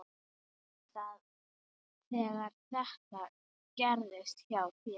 Þegar þetta gerðist hjá þér.